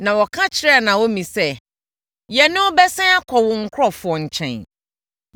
Na wɔka kyerɛɛ Naomi sɛ, “Yɛne wo bɛsane akɔ wo nkurɔfoɔ nkyɛn.”